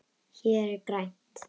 Hér er grænt.